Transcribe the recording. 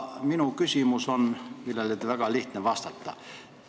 Minu küsimus on selline, millele on väga lihtne vastata.